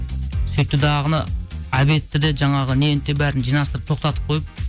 сөйтті дағыны обедті де жаңағы нені де бәрін жинастырып тоқтатып қойып